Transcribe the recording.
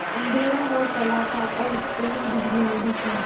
अँधेरा हो चला था और स्कूल में बिजली नहीं थी